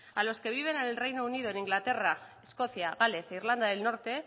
a los que viven en el reino unido en inglaterra escocia gales e irlanda del norte